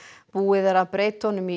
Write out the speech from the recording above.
búið er að breyta honum í